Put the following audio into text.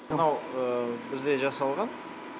мынау бізде жасалған